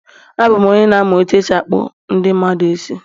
Abụ m onye n amu is else akpu ndi mmadu isi